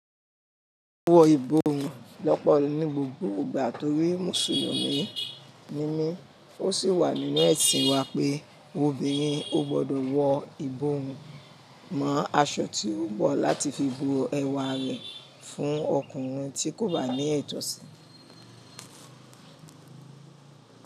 Wo ìbòrun lọ́pọ̀ ni gbogbo ìgbà torí Mùsùlùmí ni mí, ó sì wà nínú ẹ̀sìn wa pé, obìnrin ò gbọ́dọ̀ wọ ìbòrun mọ́ aṣọ tí ó bọ̀ láti fi bo ẹwà rẹ̀ fún ọkùnrin tí kò bá ní ìtọ́sì.